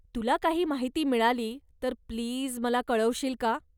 तुला काही माहिती मिळाली तर प्लीज मला कळवशील का?